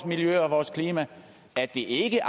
miljø og vores klima at vi ikke